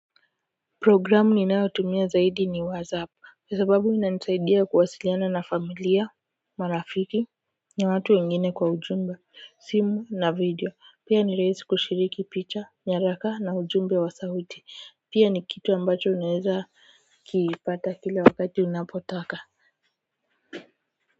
Programu ninayotumia zaidi ni wazap kwa sababu inanisaidia kuwasiliana na familia marafiki na watu wengine kwa ujumla simu na video pia ni rahisi kushiriki picha nyaraka na ujumbe wa sauti pia ni kitu ambacho unaeza kipata kila wakati unaotaka.